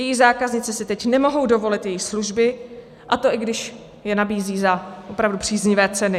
Její zákaznice si teď nemohou dovolit její služby, a to i když je nabízí za opravdu příznivé ceny.